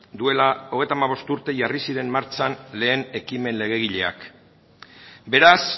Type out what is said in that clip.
duela hogeita hamabost urte jarri ziren martxan lehen ekimen legegileak beraz